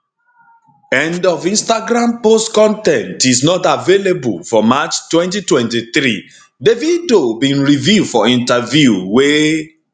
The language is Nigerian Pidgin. end of instagram post con ten t is not available for march 2023 davido bin reveal for interview wey